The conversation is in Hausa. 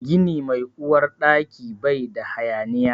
Gini mai Uwar Ɗaki bai da hayaniya.